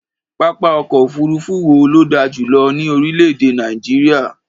Pápá ọ̀kọ̀ òfuurufú wo ló dà jù lọ ní orílẹ̀-èdè Nàìjíríà?